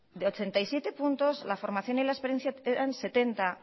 de ochenta y siete puntos la formación y la experiencia eran setenta